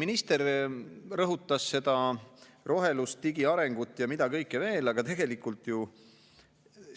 Minister rõhutas seda rohelust, digiarengut ja mida kõike veel, aga tegelikult ju